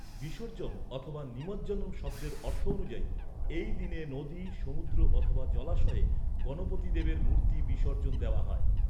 ‘বিসর্জন’ অথবা ‘নিমজ্জনম’ শব্দের অর্থ অনুযায়ী, এই দিনে নদী, সমুদ্র অথবা জলাশয়ে গণপতি দেবের মূর্তি বিসর্জন দেওয়া হয়।